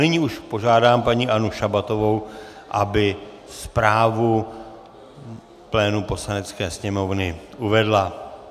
Nyní už požádám paní Annu Šabatovou, aby zprávu plénu Poslanecké sněmovny uvedla.